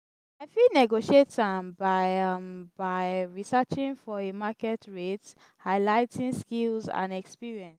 i fit negotiate am by am by researching for a market rate highlight skills and experience.